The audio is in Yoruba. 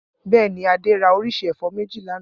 Bẹ́ẹ̀ ni, Adé ra oríṣi ẹ̀fọ́ méjì lánàá.